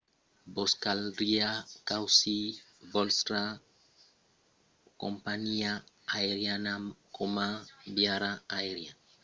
vos caldriá causir vòstra companhiá aeriana coma viatjaire aerian frequent dins una aliança amb atencion